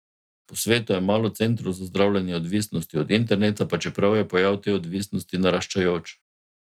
Po svetu je malo centrov za zdravljenje odvisnosti od interneta, pa čeprav je pojav te odvisnosti naraščajoč.